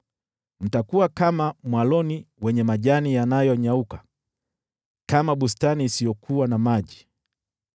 Mtakuwa kama mwaloni wenye majani yanayonyauka, kama bustani isiyokuwa na maji.